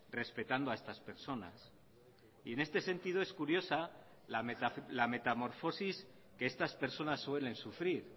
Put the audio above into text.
respetando a estas personas y en este sentido es curiosa la metamorfosis que estas personas suelen sufrir